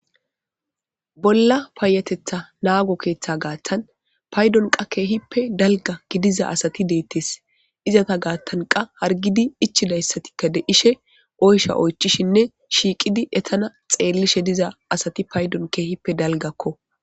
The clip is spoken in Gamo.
Bolla paayatetha naago keeththa gaathtan paydon qa keehippe dalga gidiza asati deettes izata gaattanqa hargidi ichidayssatikka de 'ishshe oyshsha oychishinne shiiqidi etana xeellishe diza asati paydon keehippe dalggakko